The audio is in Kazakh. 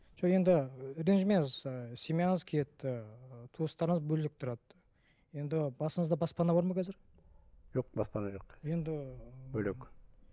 жоқ енді і ренжімеңіз ы семьяңыз кетті ы туыстарыңыз бөлек тұрады енді басыңызда баспана бар ма қазір жоқ баспана жоқ енді бөлек